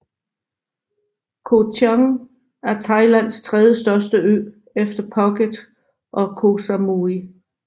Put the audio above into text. Koh Chang er Thailands trediestørste ø efter Phuket og Koh Samui